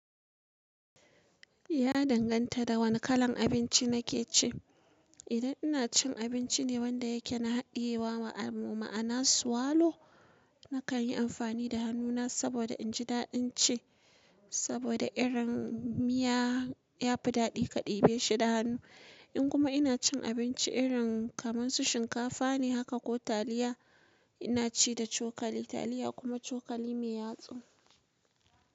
Ya danganta da wane kalan abinci na ke ci. Idan ina cin abinci ne wanda yake na hadiyewa ma'ana suwalo, na kan yi amfani da hannuna saboda in ji daɗin ci. Saboda irin miya ya fi daɗi kaɗi be shi da hannu. In kuma ina cin abinci irin kamar su shinkafa ne haka ko taliya, ina ci da cokali. Taliya kuma cokali mai yatsu.